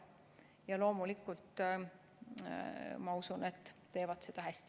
Ja loomulikult ma usun, et teevad seda hästi.